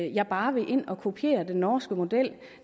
jeg bare vil kopiere den norske model